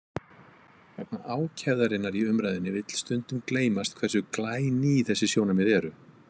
Vegna ákefðarinnar í umræðunni vill stundum gleymast hversu glæný þessi sjónarmið eru.